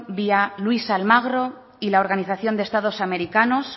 vía luis almagro y la organización de estados americanos